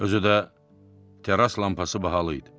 Özü də terras lampası bahalı idi.